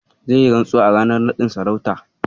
Zai yi rantsuwa a ranar naɗin sarautar.